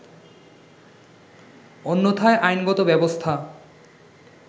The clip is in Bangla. অন্যথায় আইনগত ব্যবস্থা